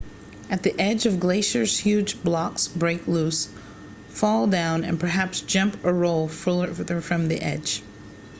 at the edge of glaciers huge blocks break loose fall down and perhaps jump or roll farther from the edge